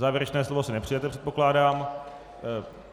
Závěrečné slovo si nepřejete, předpokládám.